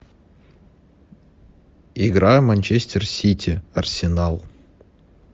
игра манчестер сити арсенал